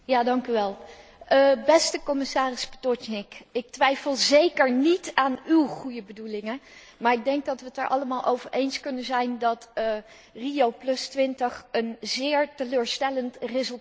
Beste commissaris Potočnik, ik twijfel zeker niet aan úw goede bedoelingen, maar ik denk dat wij het er allemaal over eens kunnen zijn dat Rio20 een zeer teleurstellend resultaat heeft opgeleverd.